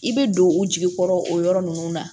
I bɛ don u jigi kɔrɔ o yɔrɔ ninnu na